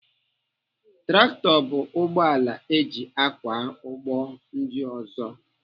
Traktọ bụ ụgbọala eji akwa ụgbọ ndị ọzọ.